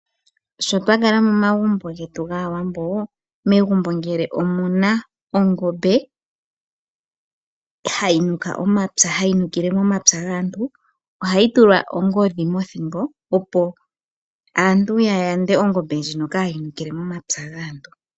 Sho twakala momagumbo getu gaawambo, Megumbo ngele omu na ongombe hayi nuka omapya ano hayi nukile momapya gaantu ohayi tulwa ongodhi mothingo opo aantu ya yande ongombe ndjino ka yi nukile momapya gaantu.